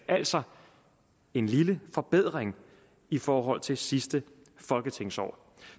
altså en lille forbedring i forhold til sidste folketingsår